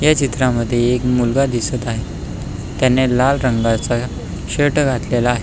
ह्या चित्रामध्ये एक मुलगा दिसत आहे त्याने लाल रंगाचा शर्ट घातलेला आहे.